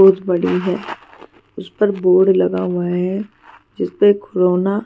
बहुत बड़ी है उस पर बोर्ड लगा हुआ है जिस पर कोरोना